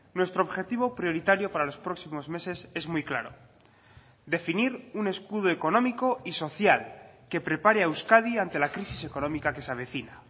nuestro objetivo prioritario para los próximos meses es muy claro definir un escudo económico y social que prepare a euskadi ante la crisis económica que se avecina